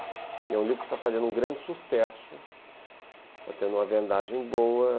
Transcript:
É um livro que está fazendo um grande sucesso, está tendo uma vendagem boa.